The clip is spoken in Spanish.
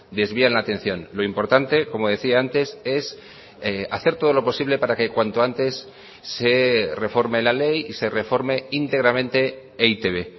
desvían la atención lo importante como decía antes es hacer todo lo posible para que cuanto antes se reforme la ley y se reforme íntegramente e i te be